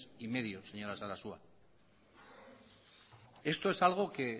quinientos mil señora sarasua esto es algo que